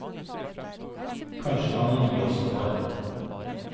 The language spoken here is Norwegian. Kanskje han kan gi oss noe.